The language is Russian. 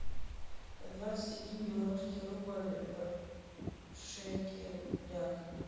двадцать один белорусский рубль в шекелях